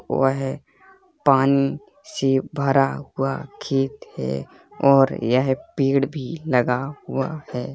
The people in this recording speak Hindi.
हुआ है पानी से भरा हुआ खेत है और यह पेड़ भी लगा हुआ है।